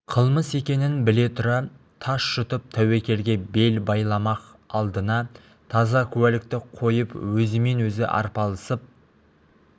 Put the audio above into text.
қылмыс екенін біле тұра тас жұтып тәуекелге бел байламақ алдына таза куәлікті қойып өзімен өзі арпалысып